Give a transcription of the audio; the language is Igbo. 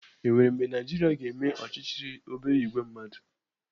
Enwere mgbe Naijiria ga-eme ọchịchị obere ìgwè mmadụ?